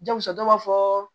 Jɔn muso dɔ b'a fɔ